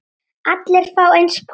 Allir fá eins poka.